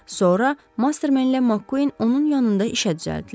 Sonra Masterman ilə MacQueen onun yanında işə düzəltdilər.